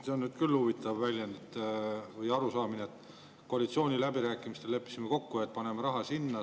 See on küll huvitav arusaam, et koalitsiooniläbirääkimistel leppisime kokku, et paneme raha sinna.